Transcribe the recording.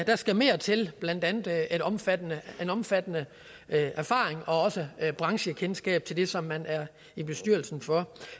der skal mere til blandt andet en omfattende omfattende erfaring og også branchekendskab til det som man er i bestyrelsen for